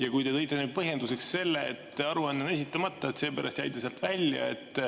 Aga te tõite põhjenduseks selle, et aruanne on esitamata ja seepärast jäi ta sealt välja.